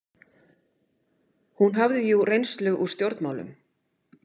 Hún hafði jú reynslu úr stjórnmálum.